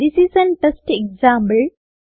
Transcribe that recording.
this is an test example